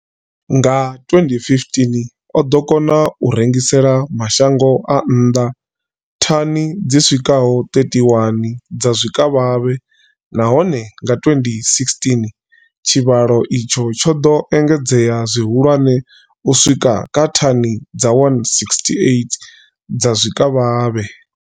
Nga 2015, o ḓo kona u rengisela mashango a nnḓa thani dzi swikaho 31 dza zwikavhavhe, nahone nga 2016 tshivhalo itshi tsho ḓo engedzea zwihulwane u swika kha thani dza 168 dza zwikavhavhe.